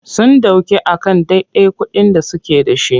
Sun ɗauke a kan dadai kuɗin da suke.da.shi.